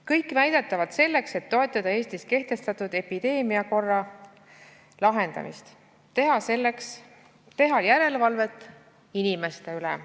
Kõik väidetavalt selleks, et toetada Eestis kehtestatud epideemiakorra lahendamist, teha järelevalvet inimeste üle.